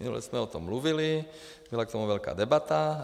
Minule jsme o tom mluvili, byla k tomu velká debata.